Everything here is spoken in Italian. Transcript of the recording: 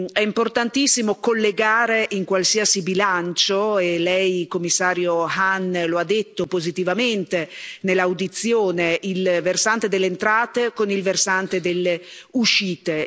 È importantissimo collegare in qualsiasi bilancio, e lei Commissario Hahn lo ha detto positivamente nell'audizione, il versante delle entrate con il versante delle uscite.